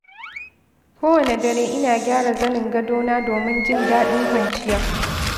Kowane dare, ina gyara zanin gadona domin jin daɗin kwanciya.